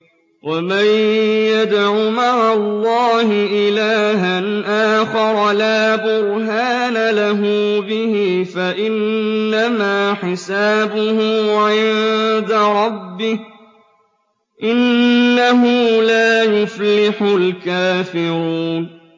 وَمَن يَدْعُ مَعَ اللَّهِ إِلَٰهًا آخَرَ لَا بُرْهَانَ لَهُ بِهِ فَإِنَّمَا حِسَابُهُ عِندَ رَبِّهِ ۚ إِنَّهُ لَا يُفْلِحُ الْكَافِرُونَ